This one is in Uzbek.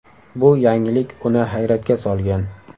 Bu yangilik uni hayratga solgan.